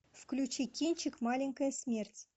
включи кинчик маленькая смерть